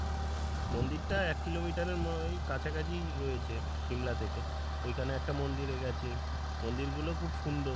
মন্দিরটা এক kilometer এর মনে হয় কাছাকাছি রয়েছে শিমলা থেকে ওই খানে একটা মন্দিরে গেছি, মন্দির গুলো খুব সুন্দর।